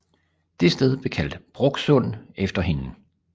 Det sted blev kaldt Bråksund efter hende